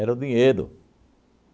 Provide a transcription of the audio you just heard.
o dinheiro.